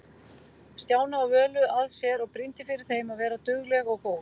Stjána og Völu að sér og brýndi fyrir þeim að vera dugleg og góð.